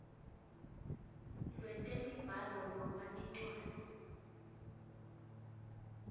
lwetemibhalo noma incwadzi